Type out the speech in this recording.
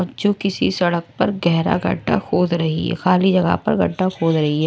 बच्चों किसी सड़क पर गहरा गड्ढा खोद रही है खाली जगह पर गड्ढा खोद रही है।